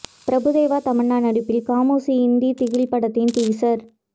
பிரபு தேவா தமன்னா நடிப்பில் காமோஷி இந்தி திகில் படத்தின் டீசர்